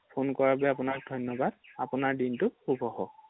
phone কৰাৰ বাবে আপোনাক ধন্যবাদ৷ আপোনাৰ দিনটো শুভ হওঁক ৷